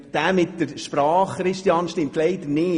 Das mit der Sprache, Grossrat Bachmann, stimmt leider nicht.